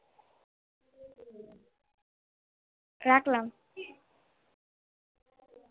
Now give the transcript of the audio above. রাখলাম